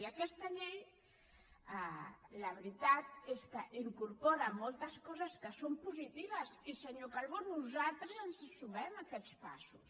i aquesta llei la veritat és que incorpora moltes coses que són positives i senyor calbó nosaltres ens sumem a aquests passos